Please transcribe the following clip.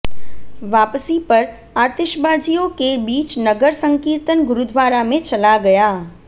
वापसी पर आतिशबाजियों के बीच नगर संकीर्तन गुरुद्वारा में चला गया